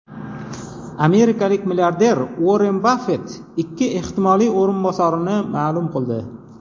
Amerikalik milliarder Uorren Baffet ikki ehtimoliy o‘rinbosarini ma’lum qildi.